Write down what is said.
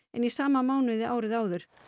en í sama mánuði árið áður